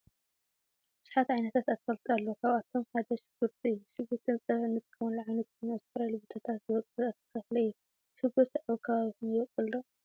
ብዛሓት ዓይነታት አትክልቲ አለው ካብአቶም ሓደ ሽጉርቲ እዩ። ሽጉርቲ ንፀብሒ እንጥቀመሉ ኮይኑ አብ ዝተፈላለዩ ቦታታት ዝቦቅል ተክሊእዩ ።ሽጉርቲ አብ ከባቢኩም ይቦቅል ዶ?